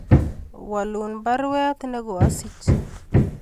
Walun baruet nego asich